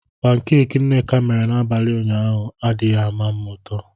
Pankeeki nneka mere n'abalị ụnyaahụ adighị m ụtọ.